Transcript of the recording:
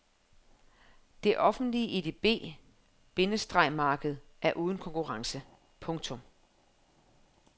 Det offentlige edb- bindestreg marked er uden konkurrence. punktum